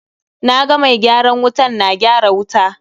Na ga mai gyaran wutan na gyara wuta.